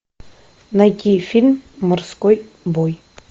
найди фильм морской бой